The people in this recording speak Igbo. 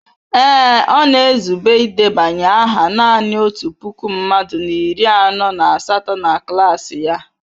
Ee, ọ na-ezube idebanye aha nanị otu puku mmadụ na iri anọ na asatọ na klas ya.